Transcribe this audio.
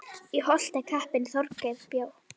Í Holti kappinn Þorgeir bjó.